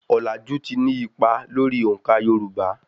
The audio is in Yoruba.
Ọ̀làjù ti ní ipa lórí òǹkà Yorùbá.